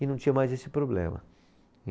E não tinha mais esse problema.